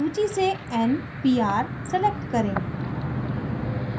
सूची से npr select करें